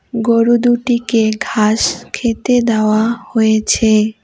গরু দুটিকে ঘাস খেতে দেওয়া হয়েছে।